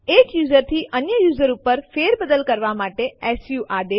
એક યુઝર થી અન્ય યુઝર ઉપર ફેરબદલી કરવા માટે સુ આદેશ